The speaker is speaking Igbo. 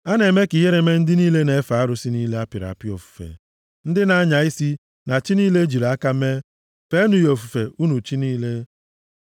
A na-eme ka ihere mee ndị niile na-efe arụsị niile a pịrị apị ofufe, ndị na-anya isi na chi niile e jiri aka mee feenụ ya ofufe, unu chi niile!